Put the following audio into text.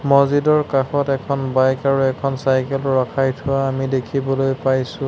মছজিদৰ কাষত এখন বাইক আৰু এখন চাইকেল ও ৰখাই থোৱা আমি দেখিবলৈ পাইছোঁ।